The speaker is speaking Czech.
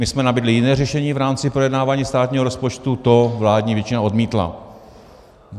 My jsme nabídli jiné řešení v rámci projednávání státního rozpočtu, to vládní většina odmítla.